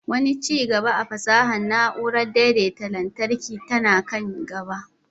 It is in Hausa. Wani ci gaba a fasahar na'urar daidaita lantarki tana kan gaba